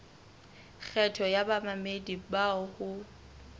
kgetho ya bamamedi bao ho